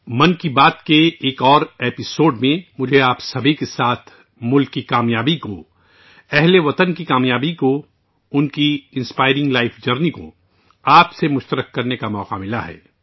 من کی بات کی ایک اور قسط میں مجھے آپ کے ساتھ ملک کی تمام کام یابیوں، ہم وطنوں کی کام یابیوں، ان کی متاثر کن زندگی کے سفر کو شیئر کرنے کا موقع ملا ہے